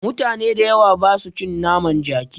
Mutane da yawa basu cin naman jaki